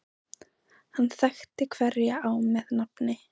Hann þekkti hverja á með nafni.